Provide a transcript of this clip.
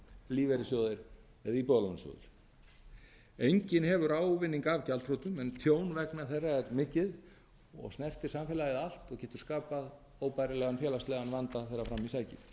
lífeyrissjóðir eða íbúðalánasjóður enginn hefur ávinning af gjaldþrotum en tjón vegna þeirra er mikið og snertir samfélagið allt og getur skapað óbærilegan félagslegan vanda þegar fram í sækir